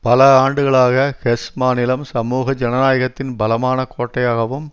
பல ஆண்டுகளாக ஹெஸ் மாநிலம் சமூக ஜனநாயகத்தின் பலமான கோட்டையாகவும்